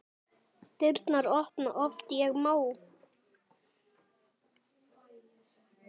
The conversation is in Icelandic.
Dyrnar opna oft ég má.